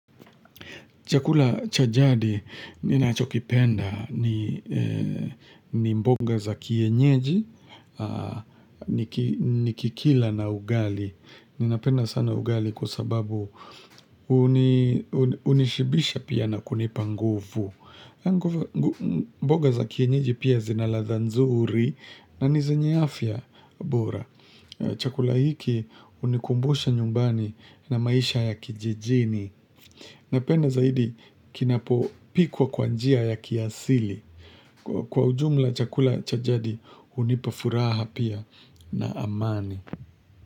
Chakula chajadi, ni nacho kipenda ni mboga za kienyeji, ni kikila na ugali. Ninapenda sana ugali kwa sababu unishibisha pia na kunipanguvu. Mboga za kienyeji pia zinaladha nzuri na nizenye afya bora. Chakula hiki, unikumbusha nyumbani na maisha ya kijijini. Napenda zaidi kinapo pikwa kwa njia ya kiasili. Kwa ujumla chakula cha jadi hunipa furaha pia na amani.